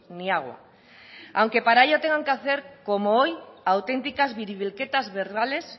ni agua aunque para ello tengan que hacer como hoy auténticas biribilketas verbales